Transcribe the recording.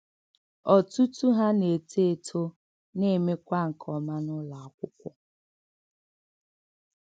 Ọ̀tùtù hà nà-ètò̄ étò̄ nà-èmékwa nke ọma n’ùlò̄ àkwụ́kwọ́.